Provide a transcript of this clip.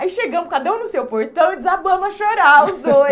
Aí chegamos cada um no seu portão e desabamos a chorar os dois.